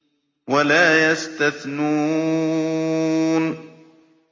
وَلَا يَسْتَثْنُونَ